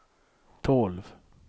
tolv